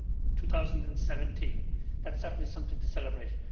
2017. That is certainly something to celebrate.